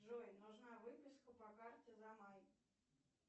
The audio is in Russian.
джой нужна выписка по карте за май